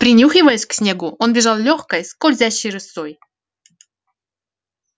принюхиваясь к снегу он бежал лёгкой скользящей рысцой